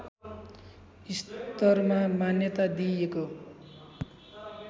स्तरमा मान्यता दिइएको